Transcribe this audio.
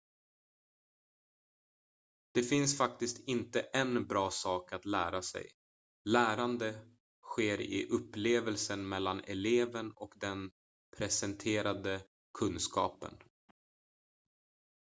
det finns faktiskt inte en bra sak att lära sig lärande sker i upplevelsen mellan eleven och den presenterade kunskapen